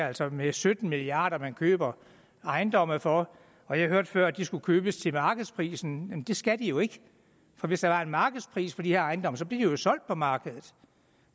altså med sytten milliard kr man køber ejendomme for og jeg hørte før at de skulle købes til markedsprisen men det skal de jo ikke for hvis der var en markedspris på de her ejendomme blev de jo solgt på markedet